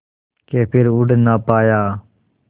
के फिर उड़ ना पाया